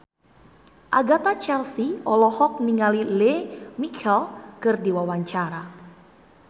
Agatha Chelsea olohok ningali Lea Michele keur diwawancara